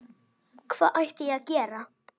Hvað ætti ég að gera?